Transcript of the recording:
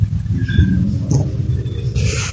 включи мне на смотрешке тв центр